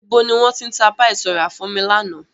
Ibo ni wọn ti ń tá "Páì" to ra fún mi lànà?